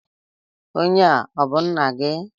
Onye a ọ bú nna gị?